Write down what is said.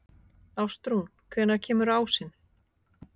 Ástrún, hvenær kemur ásinn?